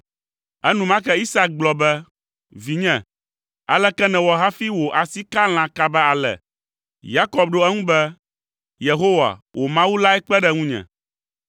Enumake Isak gblɔ be, “Vinye, aleke nèwɔ hafi wò asi ka lã kaba ale?” Yakob ɖo eŋu be, “Yehowa, wò Mawu lae kpe ɖe ŋunye.”